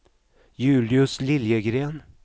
Julius Liljegren